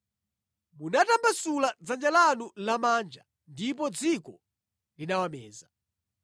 Munatambasula dzanja lanu lamanja ndipo dziko linawameza.